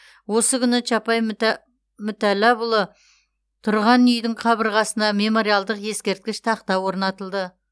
осы күні чапай мүтәлләпұлы тұрған үйдің қабырғасына мемориалдық ескерткіш тақта орнатылды